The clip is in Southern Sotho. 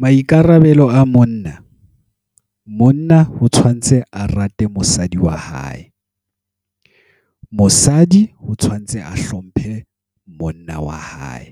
Maikarabelo a monna. Monna ho tshwantse a rate mosadi wa hae. Mosadi ho tshwantse a hlomphe monna wa hae.